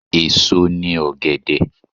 Èso ni ọ̀gẹ̀dẹ̀.